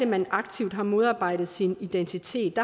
man aktivt har modarbejdet sin identitet